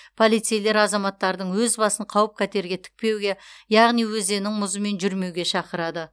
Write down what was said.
полицейлер азаматтардың өз басын қауіп қатерге тікпеуге яғни өзеннің мұзымен жүрмеуге шақырады